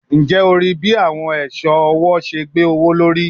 Njẹ o rii bi awọn iṣọ ọwọ ọwọ ṣe gbowolori?